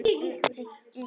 Við gerðum það.